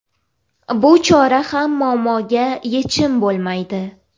Bu chora ham muammoga yechim bo‘lmaydi.